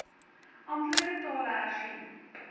amptelike tale hersien